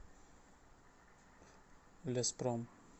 леспром